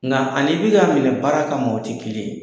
Nka ani i bi k'a minɛ baara kama o ti kelen ye